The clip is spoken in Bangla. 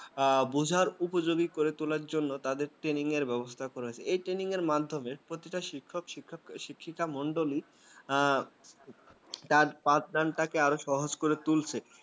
আ বোঝার উপযোগী করে তোলার জন্য তাদের training র ব্যবস্থা করেছে এই training মাধ্যমে প্রতিটা শিক্ষক-শিক্ষিকা মন্ডল গুলি তার পাঠদান টাকে আরো সহজ করে তুলছে ।